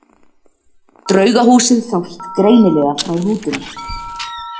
Draugahúsið sást greinilega frá rútunni.